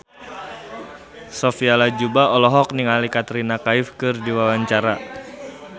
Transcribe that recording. Sophia Latjuba olohok ningali Katrina Kaif keur diwawancara